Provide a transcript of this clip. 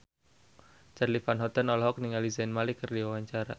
Charly Van Houten olohok ningali Zayn Malik keur diwawancara